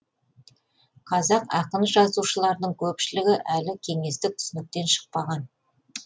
қазақ ақын жазушыларының көпшілігі әлі кеңестік түсініктен шықпаған